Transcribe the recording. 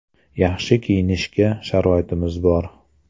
Yaxshi kiyinishga sharoitimiz bor.